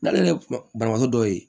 N'ale ye banabaatɔ dɔw ye